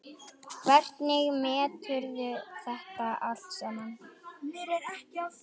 Hvernig meturðu þetta allt saman?